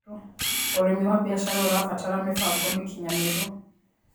Ũrĩmĩ wa bĩashara ũrabatara mĩbango mĩkĩnyanĩrũ